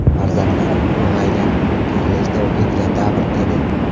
Farzandlarim ulg‘aygan, kollejda o‘qiydigan davr edi.